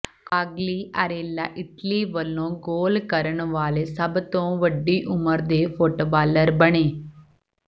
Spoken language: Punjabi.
ਕਵਾਗਲੀਆਰੇਲਾ ਇਟਲੀ ਵੱਲੋਂ ਗੋਲ ਕਰਨ ਵਾਲੇ ਸਭ ਤੋਂ ਵੱਡੀ ਉਮਰ ਦੇ ਫੁੱਟਬਾਲਰ ਬਣੇ